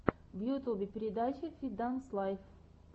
в ютюбе передача фит данс лайф